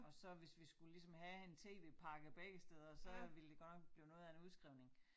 Og så hvis vi skulle ligesom have en tv pakke begge steder så ville det godt nok blive noget af en udskrivning